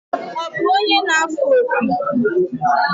Ọ bụ onye na-afụ opi?